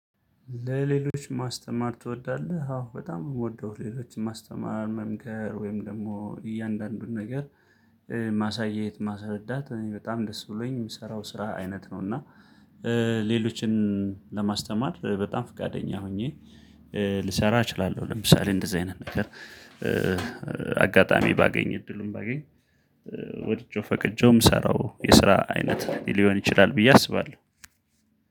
ለሌሎች ማስተማር ትወዳለህ? አዎ በጣም የምወደው ሌሎችን ማስተማር መምከር ወይም ደግሞ እያንዳንዱን ነገር ማሳየት ማስረዳት እኔ በጣም ደስ ብሎኝ የምሰራው ስራ አይነት ነው። እና ሌሎችን ለማስተማር በጣም ፍቃደኛ ሆኜ ልሰራ እችላለሁ። ለምሳሌ እንደዚህ አይነት ነገር አጋጣሚ ባገኝ እድሉን ባገኝ ወድጄው ፈቅጄውም የምሰራው የስራ አይነት ሊሆን ይችላል ብዬ አስባለሁ።